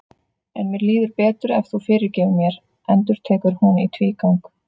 En mér líður betur ef þú fyrirgefur mér, endurtekur hún í tvígang.